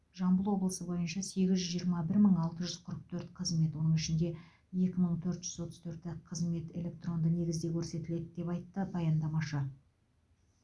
жамбыл облысы бойынша сегіз жүз жиырма бір мың алты жүз қырық төрт қызмет оның ішінде екі мың төрт жүз отыз төрті қызмет электронды негізде көрсетіледі деп айтты баяндамашы